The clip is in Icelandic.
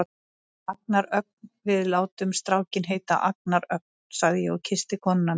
Agnar Ögn, við látum strákinn heita Agnar Ögn, sagði ég og kyssti konuna mína.